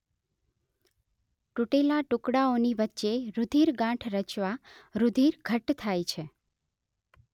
તૂટેલા ટુકડાઓની વચ્ચે રૂધિર ગાંઠ રચવા રૂધિર ઘટ્ટ થાય છે